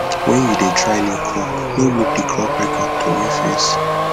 wen you dey try new crop no look the crop record throway face